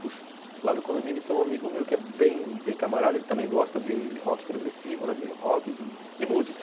Puxa, lá no condomínio tem um amigo meu que é bem bem camarada, ele também gosta de rock progressivo, de rock, de música.